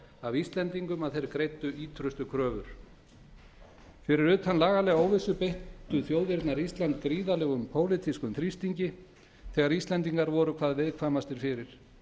af íslendingum að þeir greiddu ýtrustu kröfur fyrir utan lagalega óvissu beittu þjóðirnar ísland gríðarlegum pólitískum þrýstingi þegar íslendingar voru hvað viðkvæmastir fyrir